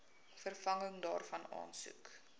vervanging daarvan aansoek